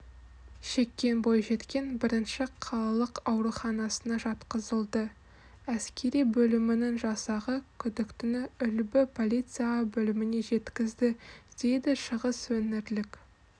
шеккен бойжеткен бірінші қалалық ауруханасына жатқызылды әскери бөлімінің жасағы күдіктіні үлбі полиция бөліміне жеткізді дейдішығысөңірлік